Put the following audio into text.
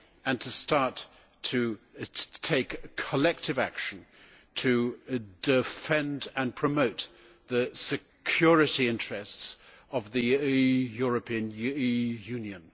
and start to take collective action to defend and promote the security interests of the European Union.